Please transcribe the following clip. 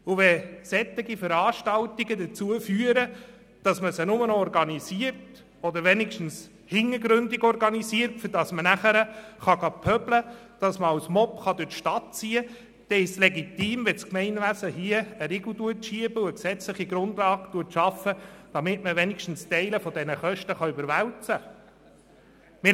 Wenn man solche Veranstaltungen nur noch organisiert, damit man nachher pöbeln und als Mob durch die Stadt ziehen kann, dann ist es legitim, wenn das Gemeinwesen den Riegel schiebt und die gesetzliche Grundlage schafft, damit man wenigstens Teile dieser Kosten überwälzen kann.